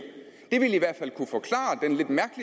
det ville